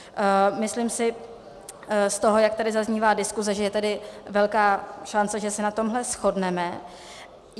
Myslím si z toho, jak tady zaznívá diskuze, že je tady velká šance, že se na tomhle shodneme.